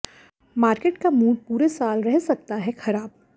market का mood पूरे साल रह सकता है खराब